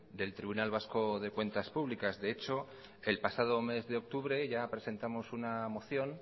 del tribunal vasco de cuentas públicas de hecho el pasado mes de octubre ya presentamos una moción